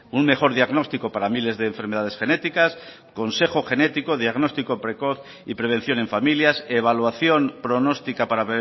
un mejor diagnóstico para miles de enfermedades genéticas consejo genético diagnóstico precoz y prevención en familias evaluación pronóstica para